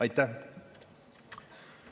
Aitäh!